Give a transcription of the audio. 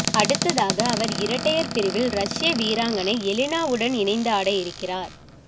அடுத்ததாக அவர் இரட்டையர் பிரிவில் ரஷ்ய வீராங்கனை எலீனாவுடன் இணந்து ஆட இருக்கிறார்